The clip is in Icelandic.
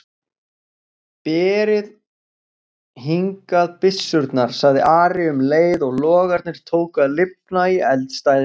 Berið hingað byssurnar, sagði Ari um leið og logarnir tóku að lifna í eldstæðinu.